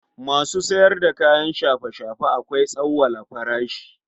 Masu sayar da kayan shafe-shafe akwai tsauwala farashi.